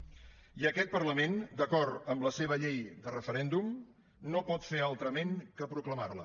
i aquest parlament d’acord amb la seva llei de referèndum no pot fer altrament que proclamarla